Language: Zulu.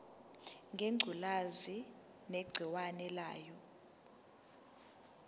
ngengculazi negciwane layo